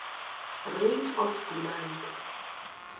rate of demand